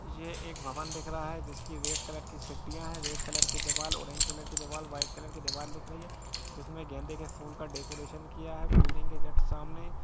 ये एक भवन दिख रहा है जिसकी रेड सीडिया है रेड कलर के दिबार ओरेंज कलर के दिबार वाट कलर की दिबार दिख रही है जिसमें गेंदे का फूल से डेकोरेशन किया है बिल्डिंग के जस्ट सामने ।